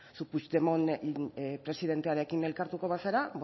puigdemont presidentearekin elkartuko bazara